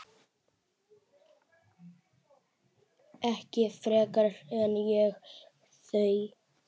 Ekki frekar en ég þau.